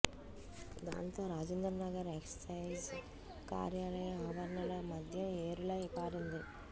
దాంతో రాజేంద్రనగర్ ఎక్సైజ్ కార్యాలయ ఆవరణలో మద్యం ఏరులై పారింది